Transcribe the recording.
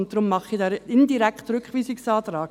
Deswegen stelle ich einen indirekten Rückweisungsantrag.